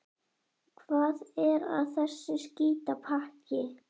Hvað er að þessu skítapakki?